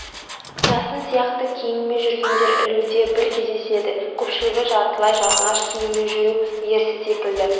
жасын сияқты киіммен жүргендер ілуде бір кездеседі көпшілігі жартылай жалаңаш киіммен жүру ерсі секілді